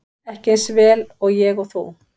Ekki eins vel og ég og þú.